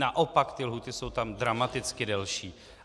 Naopak ty lhůty jsou tam dramaticky delší.